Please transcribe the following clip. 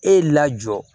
E y'i lajɔ